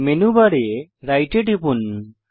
menu বারে right এ টিপুন